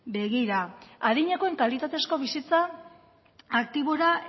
begira adinekoen kalitatezko bizitza aktibora